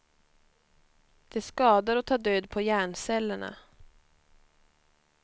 Det skadar och tar död på hjärncellerna.